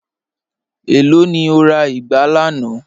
Ẹ̀ló ni o rà igbà lànà?